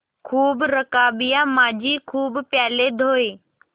खूब रकाबियाँ माँजी खूब प्याले धोये